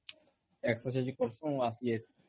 exercise କରସୁ ଆସି ଯାଇସୁ